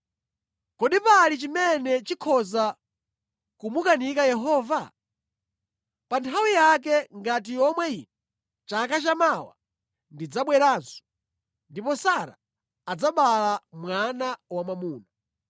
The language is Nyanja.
Kodi pali chimene chikhoza kumukanika Yehova? Pa nthawi yake, ngati yomwe ino chaka chamawa ndidzabweranso, ndipo Sara adzabala mwana wamwamuna.”